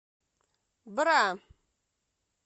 бра